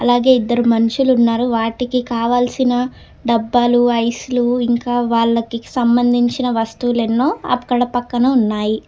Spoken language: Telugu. అలాగే ఇద్దరు మనుషులున్నారు వాటికి కావాల్సిన డబ్బాలు ఐస్ లు ఇంకా వాళ్లకి సంబంధించిన వస్తువులెన్నో అక్కడ పక్కన ఉన్నాయి.